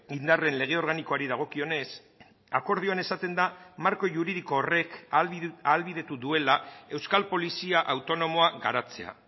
indarren lege organikoari dagokionez akordioan esaten da marko juridiko horrek ahalbidetu duela euskal polizia autonomoa garatzea